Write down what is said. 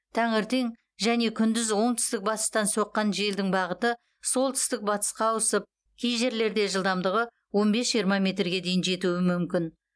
таңертең және күндіз оңтүстік батыстан соққан желдің бағыты солтүстік батысқа ауысып кей жерлерде жылдамдығы он бес жиырма метрге дейін жетуі мүмкін